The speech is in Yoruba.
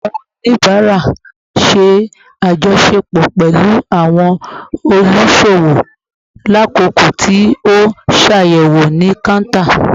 Awọn onibara ṣe ajọṣepọ pẹlu awọn oluṣowo lakoko ti o n ṣayẹwo ni counter